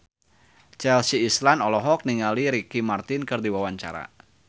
Chelsea Islan olohok ningali Ricky Martin keur diwawancara